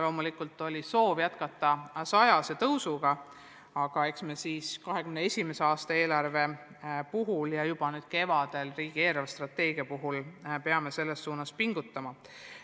Loomulikult oli soov jätkata 100-eurose kasvuga ja eks me 2021. aasta eelarvet koostades ja juba nüüd kevadel riigi eelarvestrateegiat arutades peame selles suunas pingutama.